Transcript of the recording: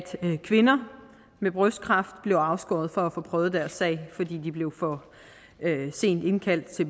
kvinder med brystkræft blev afskåret fra at få prøvet deres sag fordi de blev for sent indkaldt til